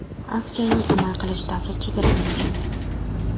Aksiyaning amal qilish davri chegaralangan.